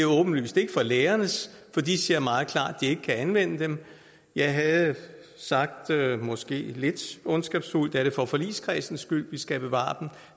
åbenlyst ikke for lærernes for de siger meget klart at ikke kan anvende dem jeg havde måske lidt ondskabsfuldt nær det for forligskredsens skyld vi skal bevare dem